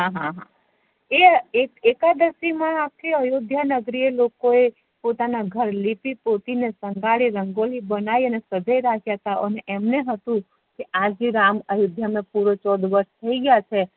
હા એ એકાદશી મા આખી અયોધ્યા નગરી એ લોકો એ પોતાના ઘર લીપી-કોટી ને સંઘર્યા રંગોથી બેનાય ને સંઘારી સેજાઈ રાખ્યતા અમને હતું આજે રામ અયોધ્યામા પૂરો ચૌદ વર્ષ થઇ ગયા છે